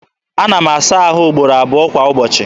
Ana m asa ahụ ugboro abụọ kwa ụbọchị.